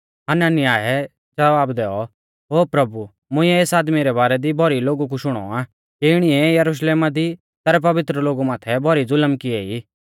हनन्याहै ज़वाब दैऔ ओ प्रभु मुंइऐ एस आदमी रै बारै दी भौरी लोगु कु शुणौ आ कि इणीऐ यरुशलेमा दी तैरै पवित्र लोगु माथै भौरी ज़ुलम किऐ ई